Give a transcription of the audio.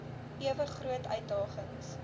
ewe groot uitdagings